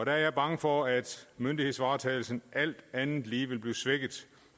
er jeg bange for at myndighedsvaretagelsen alt andet lige vil blive svækket